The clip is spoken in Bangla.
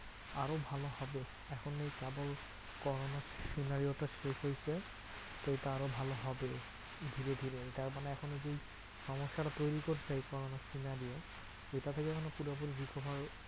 আরো ভালো হবে। এখন এই trouble corona scenario টা শেষ হয়েছে। তো এইটা আরও ভালো হবে ধীরে ধীরে এটা মানে এখনও যেই সমস্যাটা তৈরী করছে এই corona scenario এটা থেকে যেন পুরোপুরি recover